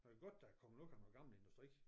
Og det godt der er kommet noget af noget gammel industri